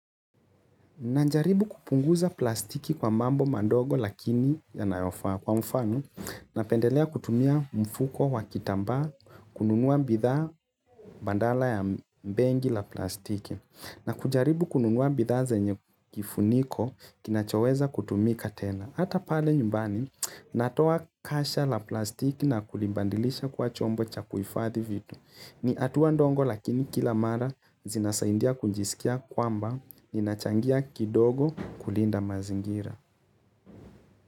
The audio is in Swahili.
Najaribu kupunguza plastiki kwa mambo mandogo lakini yanayofaa kwa mfano napendelea kutumia mfuko wa kitambaa kununua mbidhaa bandala ya mbengi la plastiki na kujaribu kununua bidhaa zenye kifuniko kinachoweza kutumika tena. Ata pale nyumbani natoa kasha la plastiki na kulimbandilisha kwa chombo cha kuifadhi vitu. Ni hatua ndongo lakini kila mara zinasaindia kunjisikia kwamba ninachangia kidogo kulinda mazingira.